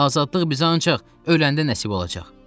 Azadlıq bizə ancaq öləndə nəsib olacaq.